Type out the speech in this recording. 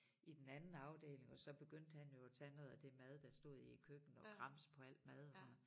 I den anden afdeling og så begyndte han jo at tage noget af det mad der stod i æ køkken og gramse på alt mad og sådan noget